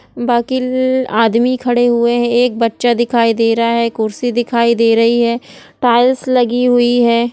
बाकी आदमी खड़े हुए हैं एक बच्चा दिखाई दे रहा है कुर्सी दिखाई दे रही है टाइल्स लगी हुई हैं।